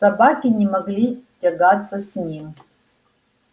собаки не могли тягаться с ним